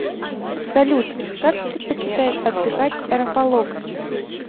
салют как предпочитает отдыхать рафаловский